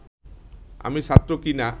আমি ছাত্র কি না